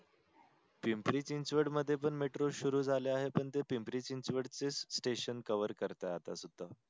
पिंपरी चिंचवड मध्ये पण metro सुरु झाल आहे पण ते पिंपरी चिंचवड चे station cover करताय आता सुधा.